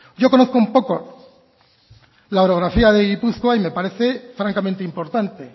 yo conozco un poco la orografía de gipuzkoa y me parece francamente importante